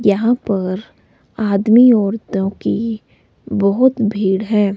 यहां पर आदमी औरतों की बहोत भीड़ है।